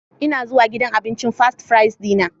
Ina zuwa gidan abincin Fast Fries Dinner.